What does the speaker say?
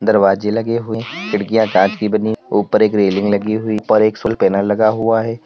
दरवाजे लगे हुए खिड़कियां कांच की बनी ऊपर एक रेलिंग लगी हुई ऊपर एक सोल पैनल लगा हुआ है।